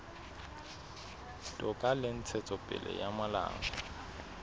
toka le ntshetsopele ya molao